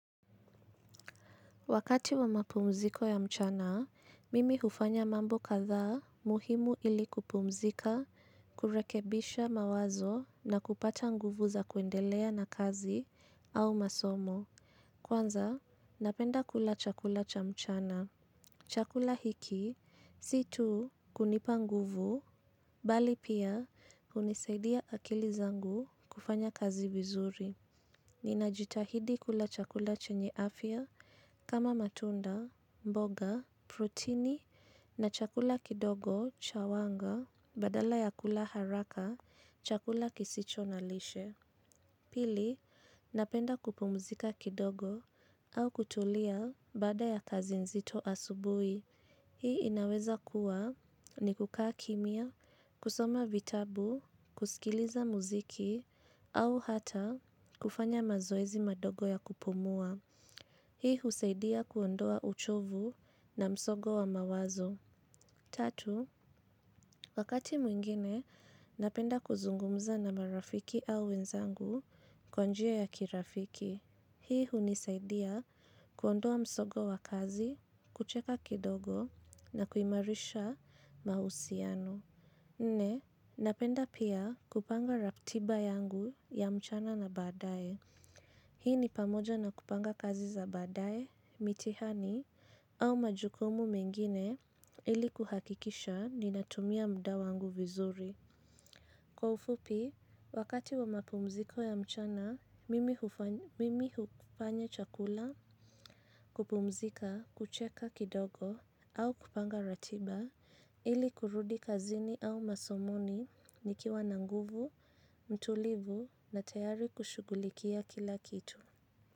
Wakati wa mapumziko ya mchana, mimi hufanya mambo kadhaa muhimu ili kupumzika, kurekebisha mawazo na kupata nguvu za kuendelea na kazi au masomo. Kwanza, napenda kula chakula cha mchana. Chakula hiki, si tu kunipa nguvu, bali pia hunisaidia akili zangu kufanya kazi vizuri. Ninajitahidi kula chakula chenye afya kama matunda. Mboga, protini na chakula kidogo, cha wanga, badala ya kula haraka, chakula kisicho na lishe. Pili, napenda kupumzika kidogo au kutulia baada ya kazi nzito asubuhi. Hii inaweza kuwa ni kukaa kimya, kusoma vitabu, kusikiliza muziki au hata kufanya mazoezi madogo ya kupumua. Hii husaidia kuondoa uchovu na msongo wa mawazo. Tatu, wakati mwingine napenda kuzungumza na marafiki au wenzangu kwa njia ya kirafiki. Hii hunisaidia kuondoa msongo wa kazi, kucheka kidogo na kuimarisha mahusiano. Nne, napenda pia kupanga ratiba yangu ya mchana na baadaye. Hii ni pamoja na kupanga kazi za baadaye, mitihani au majukumu mengine ili kuhakikisha ninatumia muda wangu vizuri. Kwa ufupi, wakati wa mapumziko ya mchana, mimi hufanya chakula, kupumzika, kucheka kidogo au kupanga ratiba ili kurudi kazini au masomoni nikiwa na nguvu, mtulivu na tayari kushugulikia kila kitu.